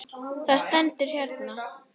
Það stendur hérna.